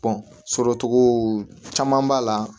sɔrɔcogo caman b'a la